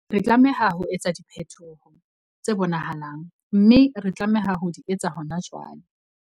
Re tlameha ho etsa diphetoho tse bonahalang, mme re tlameha ho di etsa hona jwale.